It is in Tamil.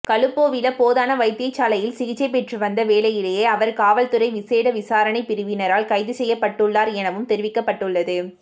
களுபோவில போதனா வைத்தியசாலையில் சிகிச்சை பெற்று வந்த வேளையிலேயே அவர் காவல்துறை விசேட விசாரணைப் பிரிவினரால் கைதுசெய்யப்பட்டுள்ளார் எனவும் தெரிவிக்கப்பட்டுள்ளது